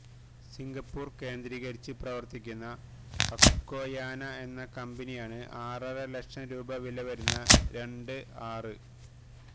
Singapore കേന്ദ്രീകരിച്ച് പ്രവര്ത്തിക്കുന്ന അക്വയാന എന്ന കമ്പനിയാണ് ആറര ലക്ഷം രൂപ വിലവരുന്ന രണ്ട് ആര്